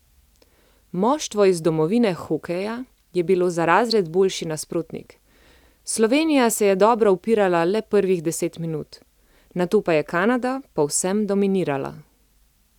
Moštvo iz domovine hokeja je bilo za razred boljši nasprotnik, Slovenija se je dobro upirala le prvih deset minut, nato pa je Kanada povsem dominirala.